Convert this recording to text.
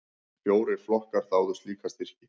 Fjórir flokkar þáðu slíka styrki.